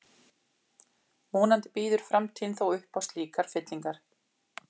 Vonandi býður framtíðin þó upp á slíkar fyllingar.